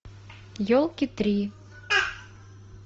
елки три